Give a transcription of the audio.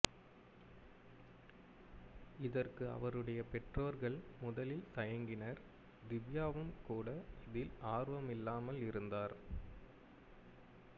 இதற்கு அவருடைய பெற்றோர்கள் முதலில் தயங்கினர் திவ்யாவும்கூட இதில் ஆர்வமில்லாமல் இருந்தார்